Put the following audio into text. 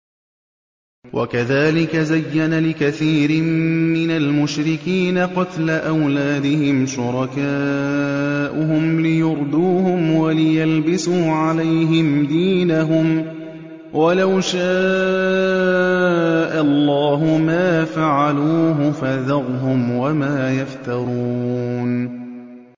وَكَذَٰلِكَ زَيَّنَ لِكَثِيرٍ مِّنَ الْمُشْرِكِينَ قَتْلَ أَوْلَادِهِمْ شُرَكَاؤُهُمْ لِيُرْدُوهُمْ وَلِيَلْبِسُوا عَلَيْهِمْ دِينَهُمْ ۖ وَلَوْ شَاءَ اللَّهُ مَا فَعَلُوهُ ۖ فَذَرْهُمْ وَمَا يَفْتَرُونَ